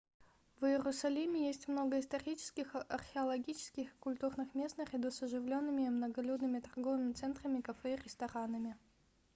в иерусалиме есть много исторических археологических и культурных мест наряду с оживленными и многолюдными торговыми центрами кафе и ресторанами